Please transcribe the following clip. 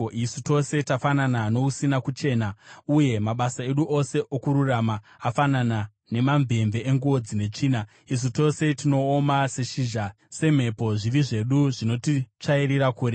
Isu tose tafanana nousina kuchena, uye mabasa edu ose okururama afanana namamvemve enguo dzine tsvina; isu tose tinooma seshizha, semhepo zvivi zvedu zvinotitsvairira kure.